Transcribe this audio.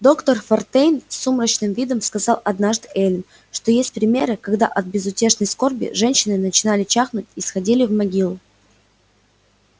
доктор фонтейн с сумрачным видом сказал однажды эллин что есть примеры когда от безутешной скорби женщины начинали чахнуть и сходили в могилу